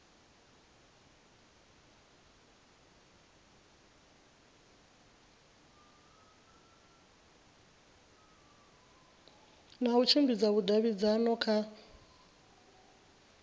na u tshimbidza vhudavhidzano kha